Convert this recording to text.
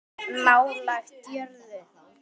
Nálægt jörðu